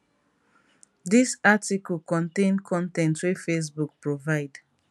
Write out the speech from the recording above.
dis article contain con ten t wey facebook provide